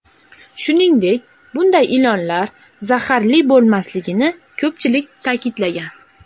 Shuningdek, bunday ilonlar zaharli bo‘lmasligini ko‘pchilik ta’kidlagan.